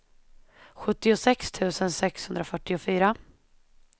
sjuttiosex tusen sexhundrafyrtiofyra